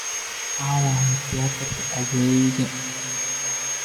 aaway tiyaatarka aaggayga